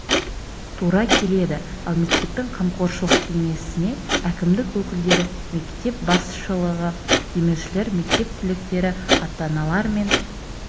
тура келеді ал мектептің қамқоршылық кеңесіне әкімдік өкілдері мектеп басшылығы демеушілер мектеп түлектері ата-аналар мен